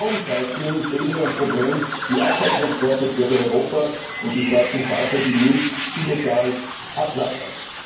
Downcycling ist ebenso ein Problem wie Abfalltransporte quer durch Europa und die schwarzen Schafe, die Müll illegal ablagern.